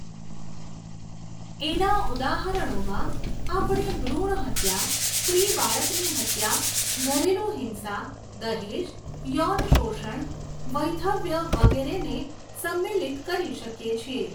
એના ઉદાહરણોમાં આપણે ભ્રુણહત્યા, સ્ત્રી બાળકની હત્યા, ઘરેલુ હિંસા, દહેજ, યૌન શોષણ, વૈધવ્ય વગેરેને સમ્મિલિત કરી શકીએ છીએ.